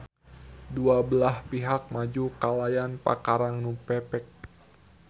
Dua belah pihak maju kalayan pakarang nu pepek.